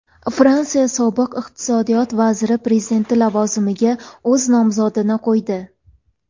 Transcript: Fransiya sobiq iqtisodiyot vaziri prezident lavozimiga o‘z nomzodini qo‘ydi.